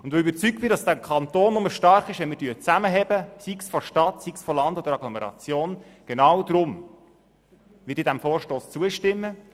Weil ich überzeugt bin, dass dieser Kanton nur stark ist, wenn wir zusammenhalten, werde ich diesem Vorstoss zustimmen.